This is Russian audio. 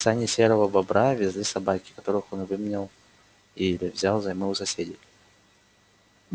сани серого бобра везли собаки которых он выменял или взял взаймы у соседей